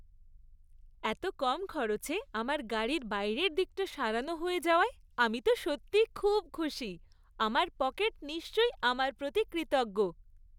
এত কম খরচে আমার গাড়ির বাইরের দিকটা সারানো হয়ে যাওয়ায় আমি সত্যিই খুব খুশি; আমার পকেট নিশ্চয়ই আমার প্রতি কৃতজ্ঞ!